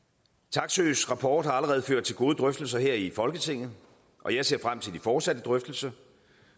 taksøes rapport har allerede ført til gode drøftelser her i folketinget og jeg ser frem til de fortsatte drøftelser